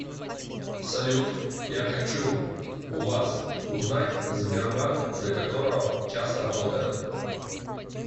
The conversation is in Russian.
салют я хочу у вас узнать сбербанк до которого часа работает